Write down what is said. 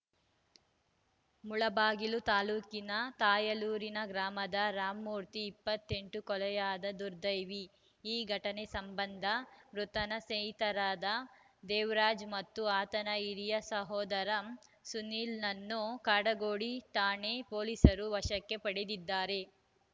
ಮುಳಬಾಗಿಲು ತಾಲೂಕಿನ ತಾಯಲೂರಿನ ಗ್ರಾಮದ ರಾಮಮೂರ್ತಿ ಇಪ್ಪತ್ತ್ ಎಂಟು ಕೊಲೆಯಾದ ದುರ್ದೈವಿ ಈ ಘಟನೆ ಸಂಬಂಧ ಮೃತನ ಸ್ನೇಹಿತರಾದ ದೇವರಾಜ್‌ ಮತ್ತು ಆತನ ಹಿರಿಯ ಸೋದರ ಸುನೀಲ್‌ನನ್ನು ಕಾಡುಗೋಡಿ ಠಾಣೆ ಪೊಲೀಸರು ವಶಕ್ಕೆ ಪಡೆದಿದ್ದಾರೆ